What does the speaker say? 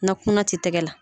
Na kunan ti tɛgɛ la.